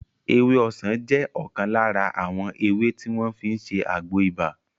Ewé ọsàn jẹ́ ọ̀kan lára àwọn ewé tí wọ́n fi ń ṣe àgbo ibà